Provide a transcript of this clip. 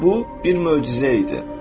Və bu bir möcüzə idi.